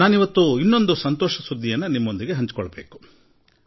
ನಾನು ಇನ್ನೂ ಒಂದು ಪ್ರಕಾಶಮಾನವಾದ ಸುದ್ದಿಯನ್ನು ನಿಮ್ಮೊಡನೆ ಹಂಚಿಕೊಳ್ಳಲು ಇಚ್ಛಿಸುತ್ತೇನೆ